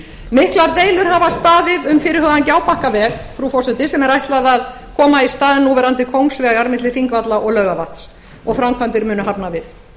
miklar deilur hafa staðið um fyrirhugaðan gjábakkaveg frú forseti sem er ætlað að koma í stað núverandi kóngsvegar milli þingvalla og laugarvatns og framkvæmdir munu hafnar við